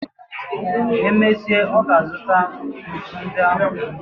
E mesịa, ọ ga-azụta ntu ndị ahụ.